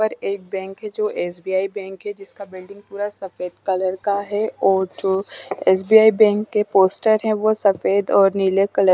पर एक बैंक है जो एस_बी_आई बैंक है जिसका पूरा सफेद कलर का है और जो एस_बी_आई बैंक के पोस्टर है वह सफेद और नीले कलर --